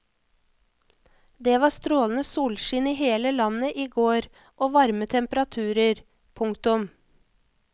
Det var strålende solskinn i hele landet i går og varme temperaturer. punktum